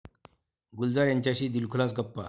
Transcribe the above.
गुलजार यांच्याशी दिलखुलास गप्पा